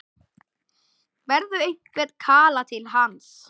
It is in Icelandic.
Berðu einhvern kala til hans?